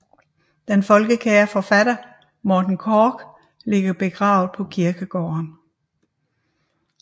Den folkekære forfatter Morten Korch ligger begravet på kirkegården